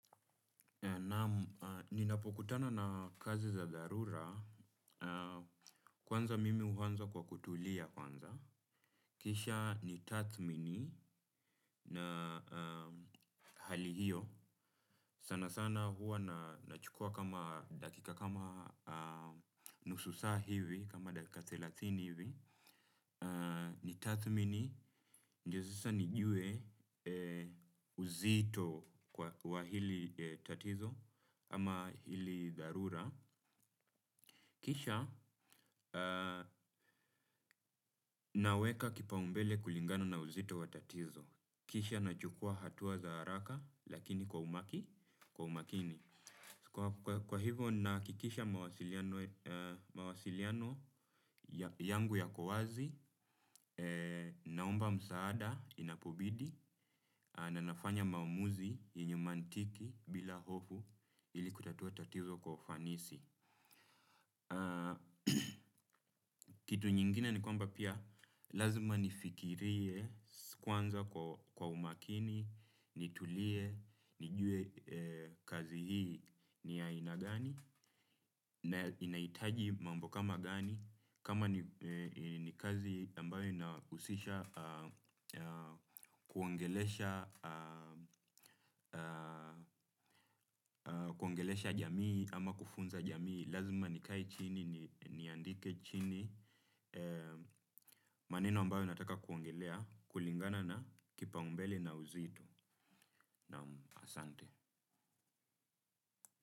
Naam ninapokutana na kazi za dharura, kwanza mimi huanza kwa kutulia kwanza, kisha ni tathmini na hali hiyo, sana sana huwa nachukua kama dakika kama nusu saa hivi, kama dakika thelathini hivi, ni tathmini, ndio sasa nijue uzito kwa hili tatizo ama hili dharura. Kisha naweka kipaumbele kulingana na uzito wa tatizo. Kisha nachukua hatua za haraka lakini kwa umakini. Kwa hivyo ninahakikisha mawasiliano yangu yako wazi naomba msaada inapobidi na nafanya maamuzi yenye mantiki bila hofu ili kutatua tatizo kwa ufanisi. Kitu nyingine ni kwamba pia lazima nifikirie kwanza kwa umakini, nitulie, nijue kazi hii ni ya aina gani, na inahitaji mambo kama gani. Kama ni kazi ambayo inahusisha kuongelesha jamii ama kufunza jamii lazima nikae chini, niandike chini. Maneno ambayo nataka kuongelea, kulingana na kipaumbele na uzito. Naam asante.